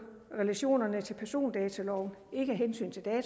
relationerne til persondataloven ikke af hensyn